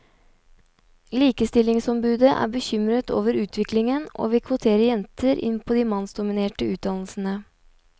Likestillingsombudet er bekymret over utviklingen og vil kvotere jenter inn på de mannsdominerte utdannelsene.